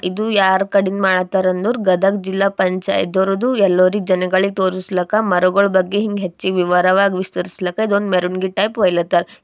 ಇದು ಯಾರ್ ಕಡಿಗ್ ಮಾಡ್ತಾರಂದೋರ್ ಗದಗ್ ಜಿಲ್ಲಾ ಪಂಚಾಯಿತಿಯೋರ್ದು ಯಲ್ಲೋರಿಗ್ ಜನಗಳಿಗ್ ತೋರಿಸ್ಲಕ್ಕ ಮರುಗುಳ್ ಬಗ್ಗ ಹಿಂಗೆ ಹೆಚ್ಚಿಗ್ ವಿವರವಾಗ್ ವಿಸ್ತರಿಸ್ಲಕ ಇದೊಂದ್ ಮೆರವಣಿಗೆ ಟೈಪ್ ಒಯ್ಲಹತ್ತಾರ.